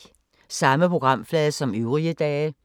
Samme programflade som øvrige dage